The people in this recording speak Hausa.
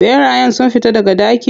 Ɓerayen sun fita daga daki?